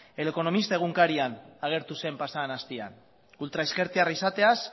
el economista egunkarian agertu zen pasa den astean ultraezkertiarra izateaz